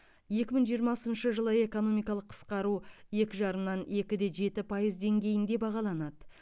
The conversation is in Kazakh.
екі мың жиырмасыншы жылы экономикалық қысқару екі жарымнан екі де жеті пайыз деңгейінде бағаланады